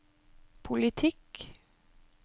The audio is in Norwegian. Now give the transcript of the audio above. politikk